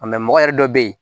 mɔgɔ yɛrɛ dɔ be yen